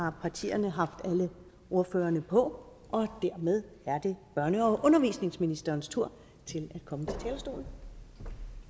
har partierne haft alle ordførerne på og dermed er det børne og undervisningsministerens tur til